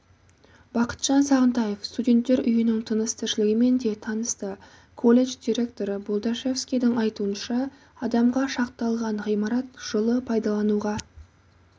бақытжан сағынтаев студенттер үйінің тыныс-тіршілігімен де танысты колледж директоры болдашевскийдің айтуынша адамға шақталған ғимарат жылы пайдалануға